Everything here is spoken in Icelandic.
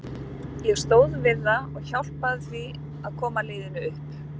Ég stóð við það og hjálpaði því að koma liðinu upp.